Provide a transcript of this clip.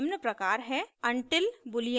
until boolean expression